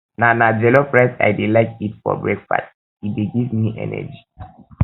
na na jollof rice i dey like eat for breakfast e dey give um me energy